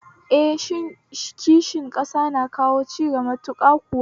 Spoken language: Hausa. Eh, kishin ƙasa na kawo cigaba matuƙa kuwa